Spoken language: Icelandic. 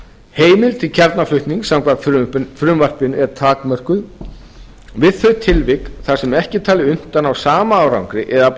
heimild til kjarnaflutnings samkvæmt frumvarpinu er takmörkuð við þau tilvik þar sem ekki er talið unnt að ná sama árangri eða afla